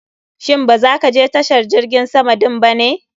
Shin ba za ka je tashar jirgin sama din ba ne?